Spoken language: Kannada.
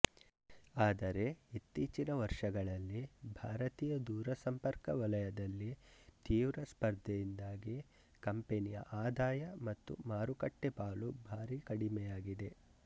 ಆದರೆ ಇತ್ತೀಚಿನ ವರ್ಷಗಳಲ್ಲಿ ಭಾರತೀಯ ದೂರಸಂಪರ್ಕ ವಲಯದಲ್ಲಿ ತೀವ್ರ ಸ್ಪರ್ಧೆಯಿಂದಾಗಿ ಕಂಪನಿಯ ಆದಾಯ ಮತ್ತು ಮಾರುಕಟ್ಟೆ ಪಾಲು ಭಾರಿ ಕಡಿಮೆಯಾಗಿದೆ